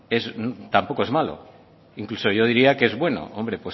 tampoco es malo incluso yo diría que es bueno hombre